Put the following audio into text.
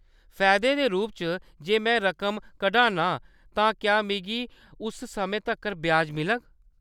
फायदे दे रूप च, जे में रकम कढान्नी आं, तां क्या मिगी उस समें तक्कर ब्याज मिलग ?